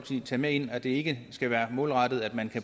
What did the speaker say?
side tage med ind at det ikke skal være målrettet at man